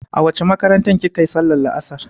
A wace makarantar kika yi sallar la'asar?